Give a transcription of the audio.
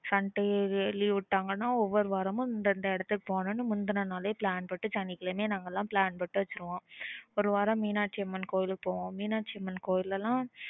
sunday வே leave விடங்கனா ஒவ்வொரு வாரமோ இந்த இந்த எடத்துக்கு போனோனு முந்தானல plan போடு சனிக்கிழமை plan போடு வெச்சிருறுவோம் ஒரு வரம் மீனாட்சியம்மன் கோவிலுக்கு போவோம் மீனாட்சியம்மன் கோவில்லல